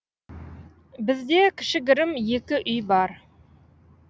бізде кішігірім екі үй бар